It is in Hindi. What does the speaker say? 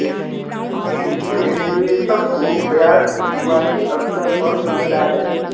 इसमें निवेशक को ब्याज शुरुआती स्तर पर मिलता है